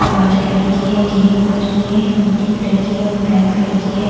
White colour की है grey colour की है मिट्टी कलर की है और ब्लैक कलर की है।